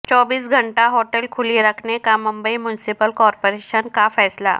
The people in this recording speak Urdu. چوبیس گھنٹہ ہوٹلیں کھلی رکھنے کا ممبئی میونسپل کارپوریشن کا فیصلہ